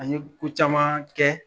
A ye ko caman kɛ